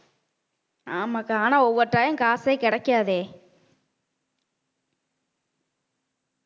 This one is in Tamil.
ஆமா அக்கா ஆனா ஒவ்வொரு time காசே கிடைக்காதே